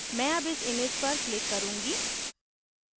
मैं अब इस image पर click करुँगी